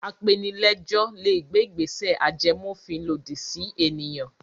Apenilẹ́jọ́ le gbé ìgbésẹ̀ ajẹmófin lòdì sí ènìyàn.